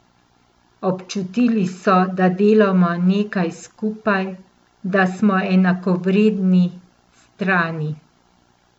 Občutili so, da delamo nekaj skupaj, da smo enakovredni strani.